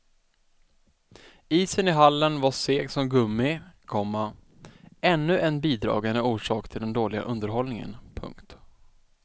Isen i hallen var seg som gummi, komma ännu en bidragande orsak till den dåliga underhållningen. punkt